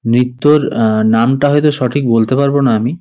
নৃত্যর আ নামটা হয়তো সঠিক বলতে পারব না আমি।